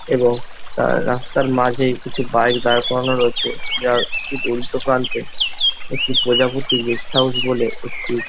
এবং তা রাস্তার মাঝেই কিছু বাইক দাঁড় করানো রয়েছে যার ঠিক উল্টো প্রান্তে একটি প্রজাপতি গেস্ট হাউস বলে একটি--